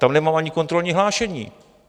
Tam nemám ani kontrolní hlášení.